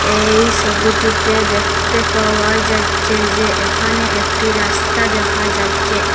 এই সোবিটিতে দেখতে পাওয়া যাচ্চে যে এখানে একটি রাস্তা দেখা যাইচ্চে।